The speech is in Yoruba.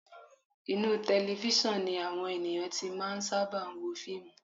Inú tẹlefísọ̀n ni àwọn ènìyàn ti máa ń sábà wo fíìmù